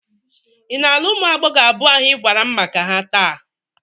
Ị na-alụ ụmụ agbọghọ abụọ ahụ ị gwara m maka ha taa?